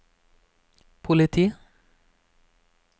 politi